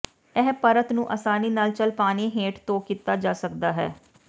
ਇਹ ਪਰਤ ਨੂੰ ਆਸਾਨੀ ਨਾਲ ਚੱਲ ਪਾਣੀ ਹੇਠ ਧੋ ਕੀਤਾ ਜਾ ਸਕਦਾ ਹੈ